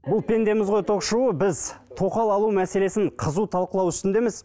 бұл пендеміз ғой ток шоуы біз тоқал алу мәселесін қызу талқылау үстіндеміз